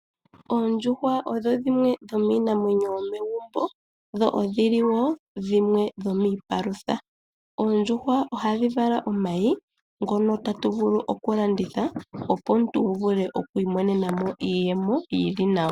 Oondjuhwa odho dhimwe dho miinamwenyo yomegumbo dho odhili dhimwe dho miipalutha. Oondjuhwa ohadhi vala omayi ngono tatu vulu oku landitha opo omuntu wu vule oku iimonenamo iiyemo yili nawa.